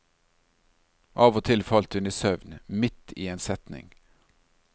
Av og til falt hun i søvn midt i en setning.